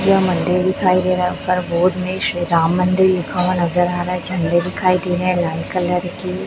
यह मंदिर दिखाई दे रहा है ऊपर बोर्ड में श्री राम मंदिर लिखा हुआ नजर आ रहा है झंडे दिखाई दे रहे हैं लाल कलर के।